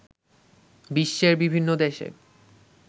বিশ্বের বিভিন্ন দেশে